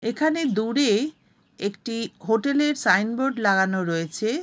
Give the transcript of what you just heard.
এখানে দূরে-এ একটি হোটেলের সাইনবোর্ড লাগানো রয়েছে-এ -